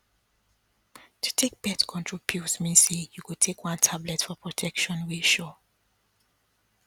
to take birth control pills mean say you go take one tablet for protection wey sure